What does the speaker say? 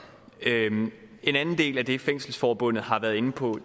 en anden del af det fængselsforbundet har været inde på